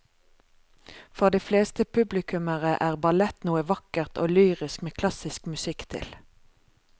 For de fleste publikummere er ballett noe vakkert og lyrisk med klassisk musikk til.